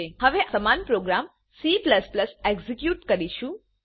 હવે આપણે સમાન પ્રોગામCએક્ઝેક્યુટ કરીશું